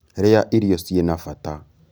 Rīa irio cina bata